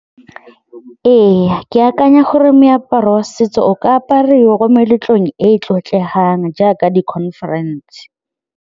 Ee, ke akanya gore meaparo ya setso o ka apariwa ko meletlong e e tlotlegang jaaka di-conference.